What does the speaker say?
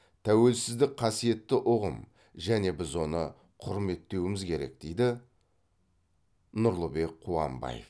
тәуелсіздік қасиетті ұғым және біз оны құрметтеуіміз керек дейді нұрлыбек қуанбаев